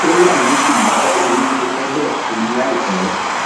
ó láwọn ṣì máa kọ irú iléeṣẹ bẹẹ sí i láìpẹ